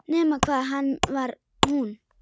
Nema hvað hann var hún.